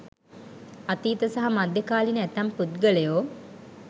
අතීත සහ මධ්‍යකාලීන ඇතැම් පුද්ගලයෝ